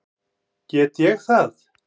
Get ég það?